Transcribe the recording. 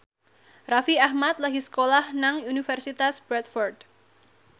Raffi Ahmad lagi sekolah nang Universitas Bradford